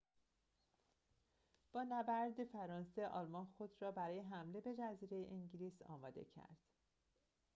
با نبرد فرانسه آلمان خود را برای حمله به جزیره انگلیس آماده کرد